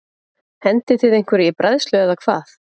Hendið þið einhverju í bræðslu eða hvað?